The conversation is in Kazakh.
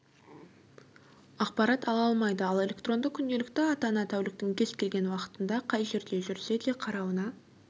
ақпарат ала алмайды ал электронды күнделікті ата-ана тәуліктің кез-келген уақытында қай жерде жүрсе де қарауына